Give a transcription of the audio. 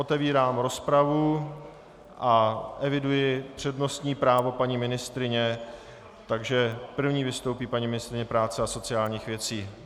Otevírám rozpravu a eviduji přednostní právo paní ministryně, takže první vystoupí paní ministryně práce a sociálních věcí.